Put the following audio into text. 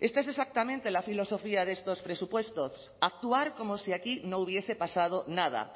esta es exactamente la filosofía de estos presupuestos actuar como si aquí no hubiese pasado nada